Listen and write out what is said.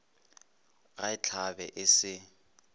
ga e hlabe e se